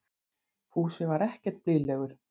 Fúsi var ekkert blíðlegur.